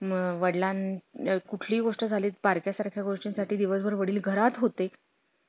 कसं होतंय आपलं व्यवस्थित आपलं franchise आहे ती एकदम आपल्यासारखी झाली पाहिजे ना